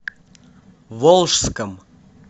волжском